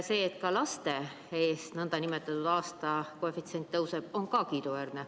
See, et ka laste eest nn aastakoefitsient tõuseb, on samuti kiiduväärne.